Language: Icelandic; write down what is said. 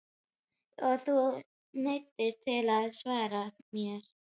Og þú neyðist til að svara mér.